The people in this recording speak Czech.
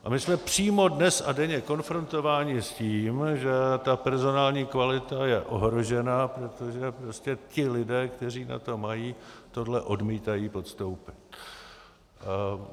A my jsme přímo dnes a denně konfrontováni s tím, že ta personální kvalita je ohrožená, protože prostě ti lidé, kteří na to mají, tohle odmítají podstoupit.